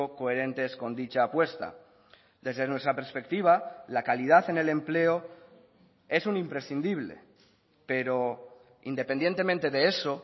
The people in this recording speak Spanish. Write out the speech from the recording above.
coherentes con dicha apuesta desde nuestra perspectiva la calidad en el empleo es un imprescindible pero independientemente de eso